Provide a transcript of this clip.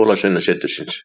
Jólasveinasetursins.